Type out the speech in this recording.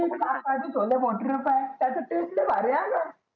कासार चे छोले भटुरे पाह्य त्याचा taste लै भारी हांका